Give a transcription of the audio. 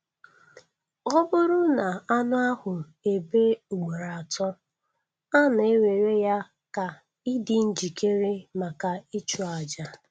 Ọ bụrụ na anụ ahụ ebe ugboro atọ, a na-ewere ya ka ịdị njikere maka ịchụ àjà.